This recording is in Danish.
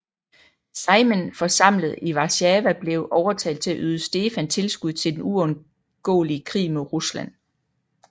Sejmen forsamlet i Warszawa blev overtalt til at yde Stefan tilskud til den uundgåelige krig mod Rusland